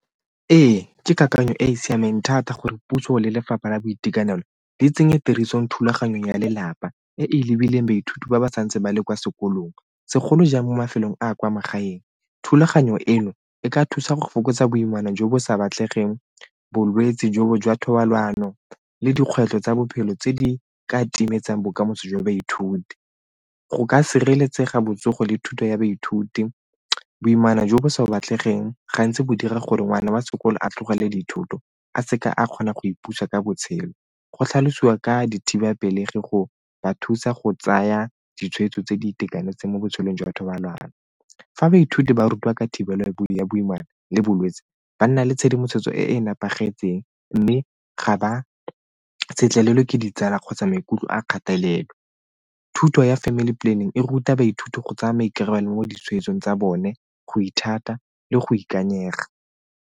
Ee, ke kakanyo e e siameng thata gore puso le lefapha la boitekanelo di tsenye tirisong thulaganyong ya lelapa e e lebileng baithuti ba ba santse ba le kwa sekolong, segolo jang mo mafelong a a kwa magaeng. Thulaganyo eno e ka thusa go fokotsa boimana jo bo sa batlegeng bolwetse jo jwa thobalano le dikgwetlho tsa bophelo tse di ka timetseng bokamoso jwa baithuti, go ka sireletsega botsogo le thuto ya baithuti. Boimana jo bo sa batlegeng gantsi go dira gore ngwana wa sekolo a tlogele dithoto a seka a kgonang go ipuse ka botshelo, go tlhalosiwa ka dithibapelegi go ba thusa go tsaya ditshwetso tse di itekanetseng mo botshelong jwa batho ba lwala. Fa baithuti ba rutiwa ka thibelo ya boimana le bolwetsi ba nna le tshedimosetso e e nepagetseng mme ga ba letlelwe ke ditsala kgotsa maikutlo a kgatelelo. Thuto ya family planning e ruta baithuti go tsaya maikarabelo mo ditshwetsong tsa bone, go ithuta le go ikanyega.